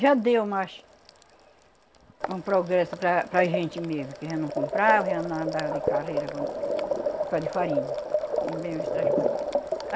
Já deu mais um progresso para para a gente mesmo, que já não comprava, já não andava de carreira quando por causa de farinha e outras coisas.